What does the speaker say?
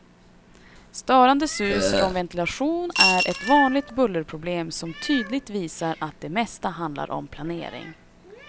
Störande sus från ventilation är ett vanligt bullerproblem som tydligt visar att det mesta handlar om planering.